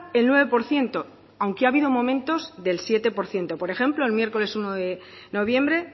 el nueve por ciento aunque ha habido momentos del siete por ciento por ejemplo el miércoles uno de noviembre